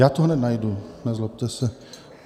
Já to hned najdu, nezlobte se.